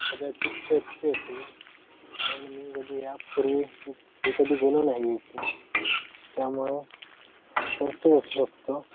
कदाचित चर्च चे असेल कारण मी कधी या पूर्वी मी कधी गेलो नाही इथे त्यामुळे चर्चच असू शकतो.